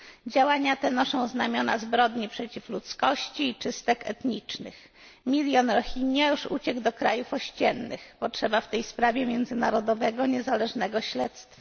Działania te noszą znamiona zbrodni przeciwko ludzkości i czystek etnicznych. Milion Rohingya już uciekło do krajów ościennych. Potrzeba w tej sprawie międzynarodowego, niezależnego śledztwa.